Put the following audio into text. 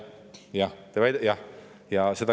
Jah, jah, jah.